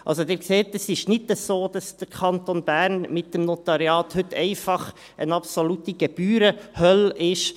Also, Sie sehen, es ist nicht so, dass der Kanton Bern mit dem Notariat heute einfach eine absolute Gebührenhölle ist.